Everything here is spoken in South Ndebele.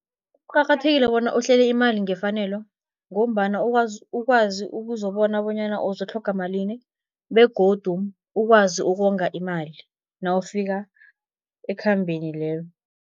Kucakathekile bona uhlele imali ngefanelo, ngombana ukwazi ukuzobona bonyana uzotlhoga malini begodu ukwazi ukonga imali nawufika ekhambeni lelo.